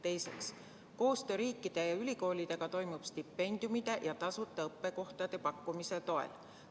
Teiseks, koostöö riikide ja ülikoolidega toimub stipendiumide ja tasuta õppekohtade pakkumise toel.